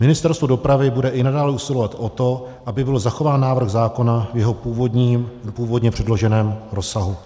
Ministerstvo dopravy bude i nadále usilovat o to, aby byl zachován návrh zákona v jeho původně předloženém rozsahu.